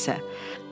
Hər nə isə.